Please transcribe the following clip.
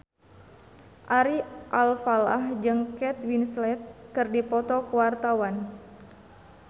Ari Alfalah jeung Kate Winslet keur dipoto ku wartawan